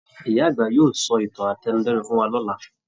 Ìyá àgbà yóò sọ ìtàn átẹnudẹ́nu fún wa lọ̀la.